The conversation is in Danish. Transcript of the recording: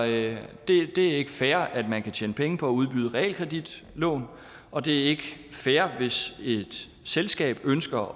det er ikke fair at man kan tjene penge på at udbyde realkreditlån og det er ikke fair hvis et selskab ønsker